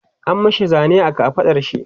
an mashi Zane a kafaɗar shi